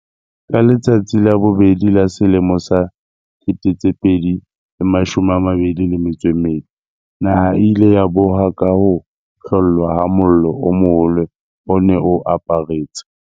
Ka letsatsi la bobedi la selemo sa 2022, naha e ile ya boha ka ho hlollwa ha mollo o moholo o ne o aparetse.